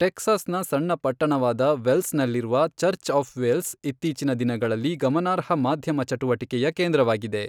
ಟೆಕ್ಸಾಸ್ನ ಸಣ್ಣ ಪಟ್ಟಣವಾದ ವೆಲ್ಸ್ನಲ್ಲಿರುವ ಚರ್ಚ್ ಆಫ್ ವೆಲ್ಸ್ ಇತ್ತೀಚಿನ ದಿನಗಳಲ್ಲಿ ಗಮನಾರ್ಹ ಮಾಧ್ಯಮ ಚಟುವಟಿಕೆಯ ಕೇಂದ್ರವಾಗಿದೆ.